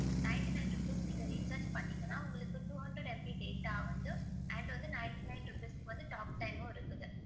Nintey nine rupees நீங்க recharge பண்னுணீங்கன்னா, உங்களுக்கு two hundred MB data வந்து and வந்து ninety nine rupees க்கு வந்து talk time மும் இருக்குது.